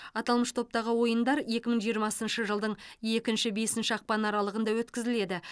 аталмыш топтағы ойындар екі мың жиырмасыншы жылдың екінші бесінші ақпан аралығында өткізіледі